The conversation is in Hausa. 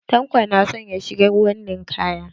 Tanko na son ya shiga ruwan ninkaya.